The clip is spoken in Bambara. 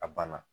A banna